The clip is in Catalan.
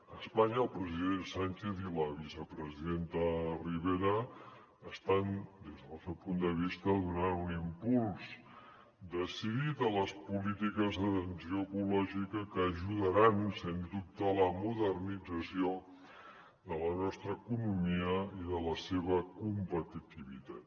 a espanya el president sánchez i la vicepresidenta ribera estan des del nostre punt de vista donant un impuls decidit a les polítiques d’atenció ecològica que ajudaran sens dubte a la modernització de la nostra economia i de la seva competitivitat